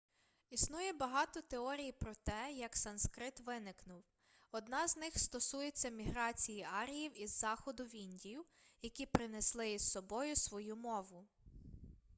існує багато теорій про те як санскрит виникнув одна з них стосується міграції аріїв із заходу в індію які принесли із собою свою мову